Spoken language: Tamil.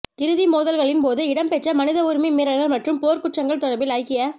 இறுதி மோதல்களின் போது இடம்பெற்ற மனித உரிமை மீறல்கள் மற்றும் போர்க்குற்றங்கள் தொடர்பில் ஐக்கிய